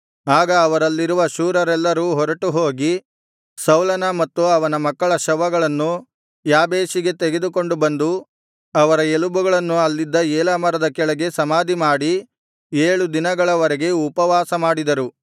ಆಗ ಅವರಲ್ಲಿರುವ ಶೂರರೆಲ್ಲರೂ ಹೊರಟುಹೋಗಿ ಸೌಲನ ಮತ್ತು ಅವನ ಮಕ್ಕಳ ಶವಗಳನ್ನು ಯಾಬೇಷಿಗೆ ತೆಗೆದುಕೊಂಡು ಬಂದು ಅವರ ಎಲುಬುಗಳನ್ನು ಅಲ್ಲಿದ್ದ ಏಲಾ ಮರದ ಕೆಳಗೆ ಸಮಾಧಿ ಮಾಡಿ ಏಳು ದಿನಗಳ ವರೆಗೆ ಉಪವಾಸ ಮಾಡಿದರು